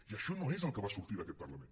i això no és el que va sortir d’aquest parlament